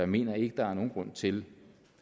mener ikke der er nogen grund til